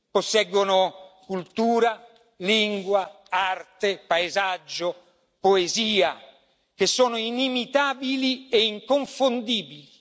Posseggono cultura, lingua, arte, paesaggio e poesia che sono inimitabili e inconfondibili.